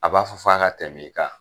A b'a fɔ f'a ka tɛm'i kan.